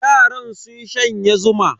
Yaran sun shanye zuma.